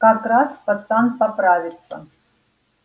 как раз пацан поправится